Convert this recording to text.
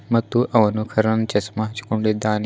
ಮತ್ತು ಅವನು ಕಣಿನ್ ಚಸ್ಮಾ ಹಂಚ್ಕೊಂಡಿದ್ದಾನೆ.